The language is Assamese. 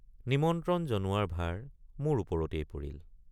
নিমন্ত্ৰণ জনোৱাৰ ভাৰ মোৰ ওপৰতেই পৰিল।